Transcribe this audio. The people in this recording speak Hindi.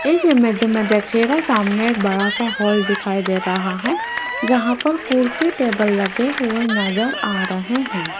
इस इमेज मे देखियेगा सामने एक बड़ा सा हॉल दिखाई दे रहा है जहां पर कुर्सी टेबल लगे हुए नजर आ रहे हैं।